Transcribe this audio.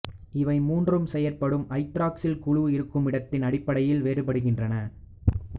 இவை மூன்றும் செயற்படும் ஐதராக்சில் குழு இருக்குமிடத்தின் அடிப்படையில் வேறுபடுகின்றன